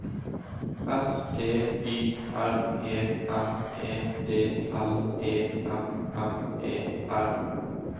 S T Y R E M E D L E M M E R